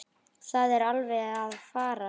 Það er alveg að farast.